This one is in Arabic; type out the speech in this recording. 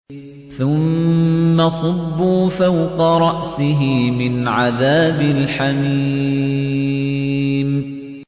ثُمَّ صُبُّوا فَوْقَ رَأْسِهِ مِنْ عَذَابِ الْحَمِيمِ